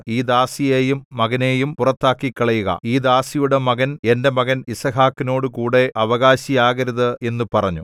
ഈ ദാസിയെയും മകനെയും പുറത്താക്കിക്കളയുക ഈ ദാസിയുടെ മകൻ എന്റെ മകൻ യിസ്ഹാക്കിനോടുകൂടെ അവകാശിയാകരുത് എന്നു പറഞ്ഞു